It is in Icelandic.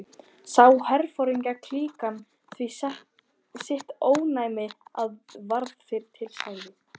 Sá herforingjaklíkan því sitt óvænna og varð fyrri til, sagði